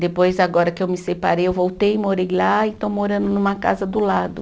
Depois, agora que eu me separei, eu voltei e morei lá e estou morando numa casa do lado.